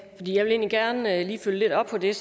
der